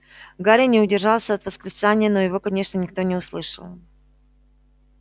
гарри не удержался от восклицания но его конечно никто не услышал